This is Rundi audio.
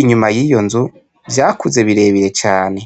inyuma yiyo nzu vyakuze birebire cane.